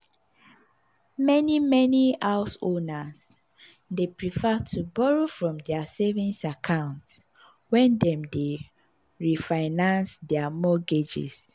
meni meni homeowners dey prefer to borrow from dia savings account wen dem dey refinance dia mortgages.